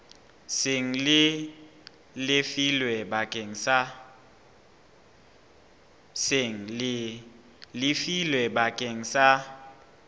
seng le lefilwe bakeng sa